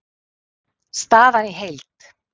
Staðan í heild